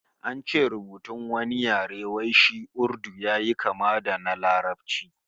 An ce rubutun wani yare wai shi Urdu yayi kama da na Larabci